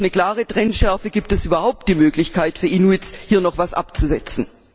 Nur durch eine klare Trennschärfe gibt es überhaupt die Möglichkeit für Inuits, hier noch etwas abzusetzen.